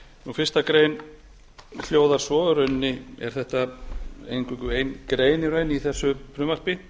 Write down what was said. fyrstu grein hljóðar svo í rauninni er þetta eingöngu ein grein í raun í þessu frumvarpi